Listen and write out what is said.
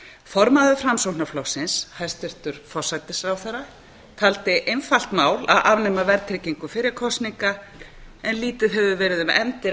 formaður framsóknarflokksins hæstvirtur forsætisráðherra taldi einfalt mál að afnema verðtryggingu fyrir kosningar en lítið hefur verið um efndir